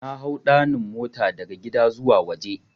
Nahau 'ɗanin' mota daga gida zuwa waje.